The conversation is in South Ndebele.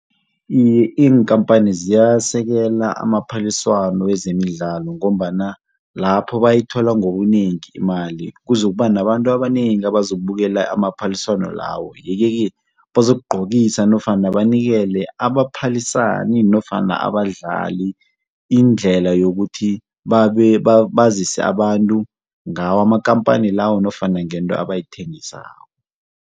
Iye, iinkampani ziyasekela amaphaliswano wezemidlalo ngombana lapho bayithola ngobunengi imali kuzokuba nabantu abanengi abazokubukela amaphaliswano lawo. Yeke-ke bazokugcokisa nofana banikele abaphalisani nofana abadlali indlela yokuthi bazise abantu ngawo amakampani lawo nofana ngento abayithengisako.